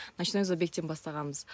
ночной забегтен бастағанбыз